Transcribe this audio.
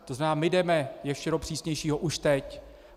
To znamená, my jdeme ještě do přísnějšího už teď.